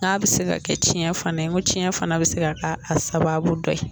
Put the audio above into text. N'a bɛ se ka kɛ tiɲɛ fana ye ko tiɲɛ fana bɛ se ka sababu dɔ ye